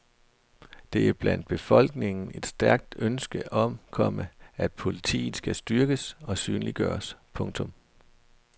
Der er blandt befolkningen et stærkt ønske om, komma at politiet skal styrkes og synliggøres. punktum